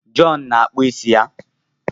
John na-akpụ isi ya.